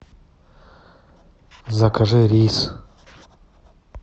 закажи рис